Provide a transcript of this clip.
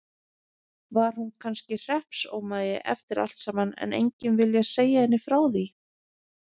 Var hún kannski hreppsómagi eftir allt saman, en enginn viljað segja henni frá því?